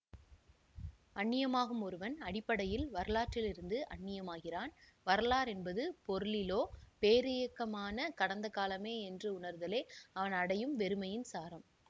அன்னியமாகும் ஒருவன் அடிப்படையில் வரலாற்றிலிருந்து அன்னியமாகிறான் வரலாறென்பது பொருளிலோ பேரியக்கமான கடந்தகாலமே என்று உணர்தலே அவன் அடையும் வெறுமையின் சாரம்